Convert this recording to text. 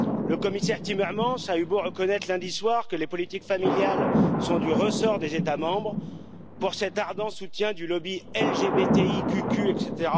Le commissaire Timmermans a eu beau reconnaître lundi soir que les politiques familiales sont du ressort des États membres, pour cet ardent soutien du lobby LGBTI cucul, etc.,